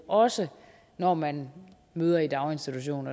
også når man møder i daginstitution